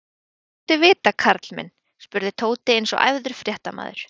Hvað viltu vita, karl minn? spurði Tóti eins og æfður fréttamaður.